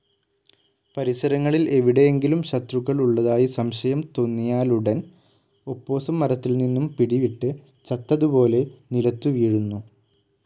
പരിസരങ്ങളിൽ എവിടെയെങ്കിലും ശത്രുക്കൾ ഉള്ളതായി സംശയം തൊന്നിയാലുടൻ ഒപ്പോസം മരത്തിൽനിന്നും പിടിവിട്ട് ചത്തതുപോലെ നിലത്തു വീഴുന്നു.